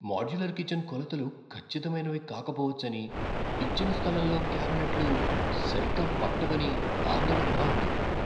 Modular kitchen కొలతలు ఖచ్చితమైనవి కాకపోవచ్చని, ఇచ్చిన స్థలంలో క్యాబినెట్లు సరిగ్గా పట్టవని ఆందోళనగా ఉంది.